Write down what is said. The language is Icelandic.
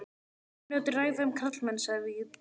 Mínútu ræða um karlmenn, sagði Vigdís.